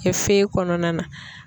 feye kɔnɔna na.